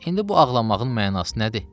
İndi bu ağlamağın mənası nədir?